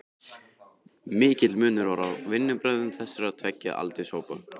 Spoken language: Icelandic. Mikill munur var á vinnubrögðum þessara tveggja aldurshópa.